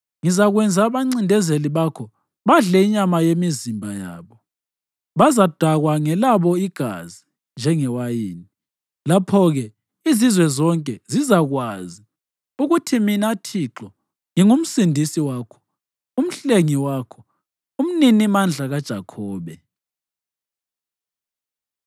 Ngizakwenza abancindezeli bakho badle inyama yemizimba yabo; bazadakwa ngelabo igazi njengewayini. Lapho-ke izizwe zonke zizakwazi ukuthi mina Thixo, nginguMsindisi wakho, uMhlengi wakho, uMninimandla kaJakhobe.”